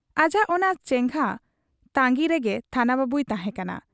ᱟᱡᱟᱜ ᱚᱱᱟ ᱪᱮᱸᱜᱷᱟ ᱛᱟᱺᱜᱤ ᱨᱮᱜᱮ ᱛᱷᱟᱱᱟ ᱵᱟᱹᱵᱩᱭ ᱛᱟᱦᱮᱸ ᱠᱟᱱᱟ ᱾